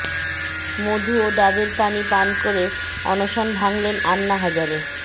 মধু ও ডাবের পানি পান করে অনশন ভাঙ্গলেন আন্না হাজারে